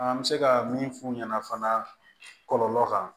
An bɛ se ka min f'u ɲɛna fana kɔlɔlɔ kan